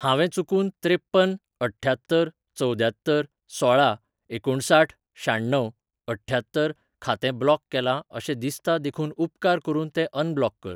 हांवें चुकून त्रेप्पन अठ्ठ्यात्तर चवद्यात्तर सोळा एकुणसाठ शाण्णव अठ्ठ्यात्तर खातें ब्लॉक केलां अशें दिसता देखून उपकार करून तें अनब्लॉक कर.